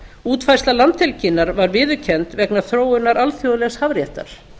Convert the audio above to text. útfærsla landhelginnar var viðurkennd vegna þróunar alþjóðlegs hafréttar